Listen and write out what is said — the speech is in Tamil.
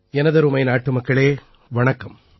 எனதருமை நாட்டுமக்களே வணக்கம்